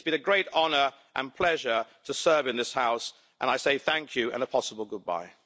It's been a great honour and pleasure to serve in this House, and I say thank you, and a possible goodbye.